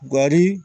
Gari